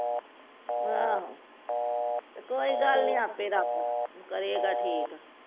ਆਹੋ ਤੇ ਕੋਈ ਗਲ ਨਹੀ ਆਪੇ ਰਬ ਕਰੇਗਾ ਠੀਕ